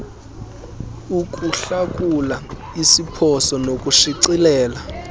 ukuhlakula iziphoso nokushicilela